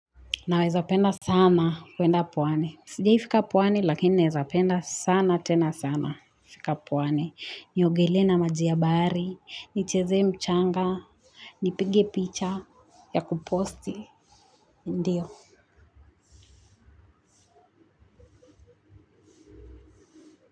Naweza penda sana kuenda pwani. Sijiai fika pwani lakini neza penda sana tena sana kufika pwani. Niogelee na maji ya bahari, nichezee mchanga, nipige picha, ya kuposti, ndiyo.